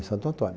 Santo Antônio.